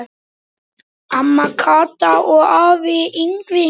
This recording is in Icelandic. Amma Kata og afi Yngvi.